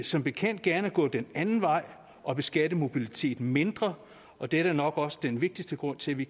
som bekendt gerne gå den anden vej og beskatte mobiliteten mindre og det er da nok også den vigtigste grund til at vi